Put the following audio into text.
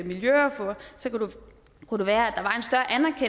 miljøordfører kunne det være at